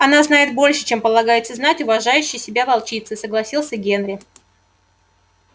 она знает больше чем полагается знать уважающей себя волчице согласился генри